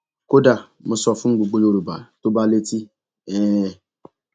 kódà mo sọ fún gbogbo yorùbá tó bá létí um